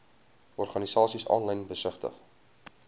organisasies aanlyn besigtig